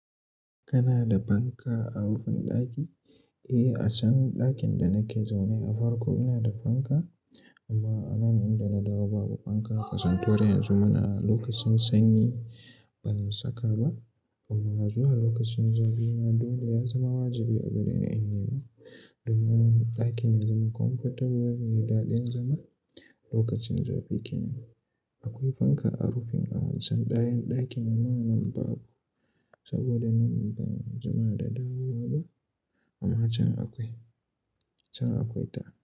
Kana da fanka a rufin ɗaki? Eh, a can ɗakin da nake zaune a farko ina da fanka amma a nan inda na dawo babu fanka. Kasantowar yanzu muna a lokacin sanyi ban saka ba amma zuwa lokacin zafi ma dole ya zama wajibi a gare ni in nema. Domin ɗakin ya zama comfortable yai daɗin zama lokacin zafi kenan. Akwai fanka a rufin awancan dayan ɗakin amma a nan babu saboda nan ban zama da dawowa ba amma can akwai, can akwai ta.